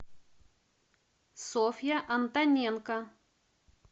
софья антоненко